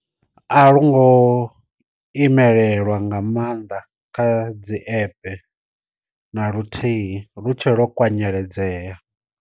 A lo ngo imelelwa nga maanḓa kha dzi app na luthihi lutshetshe ḽo kwanyeledzeya.